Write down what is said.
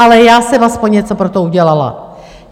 Ale já jsem alespoň něco pro to udělala.